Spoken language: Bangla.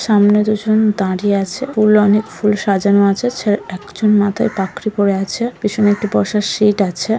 সামনে দুজন দাঁড়িয়ে আছে ফুল অনেক ফুল সাজানো আছে একজন মাথায় পাগড়ি পড়ে আছে পেছনে একটি বসার সিট আছে।